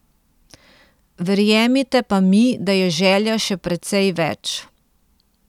Verjemite pa mi, da je želja še precej več.